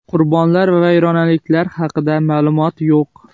Qurbonlar va vayronaliklar haqida ma’lumot yo‘q.